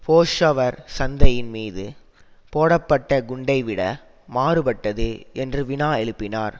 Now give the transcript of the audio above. பொஷவர் சந்தையின் மீது போடப்பட்ட குண்டைவிட மாறுபட்டது என்று வினா எழுப்பினார்